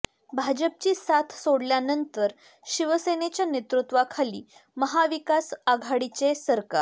भाजपची साथ सोडल्यानंतर शिवसेनेच्या नेतृत्वाखाली महा विकास आघाडीचे सरकार